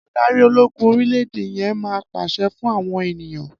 Adarí ológun orílẹ̀-èdè yẹn máa pàṣẹ fún àwọn ènìyàn.